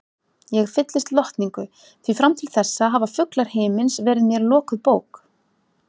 Ég fyllist lotningu, því fram til þessa hafa fuglar himins verið mér lokuð bók.